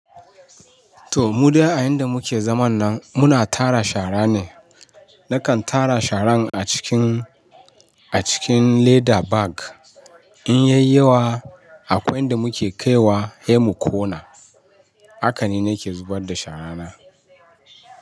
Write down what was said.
To mu dai a inda muke zaman nan muna tara shara ne. Nakan tara sharan a cikin leather bag. In yai yawa akwai inda muke kaiwa sai mu kona, haka nake zubar da shara na.